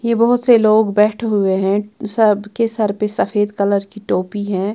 ये बहुत से लोग बैठे हुए हैं सबके सिर पर सफेद कलर की टोपी है।